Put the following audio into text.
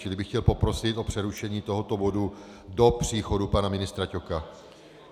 Čili bych chtěl poprosit o přerušení tohoto bodu do příchodu pana ministra Ťoka.